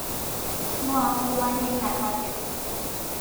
Nuua nkuma teenia nkaseti